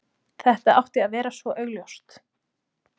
Þetta átti að vera svo augljóst.